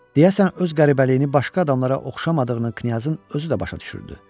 Deyəsən öz qəribəliyini başqa adamlara oxşamadığını knyazın özü də başa düşürdü.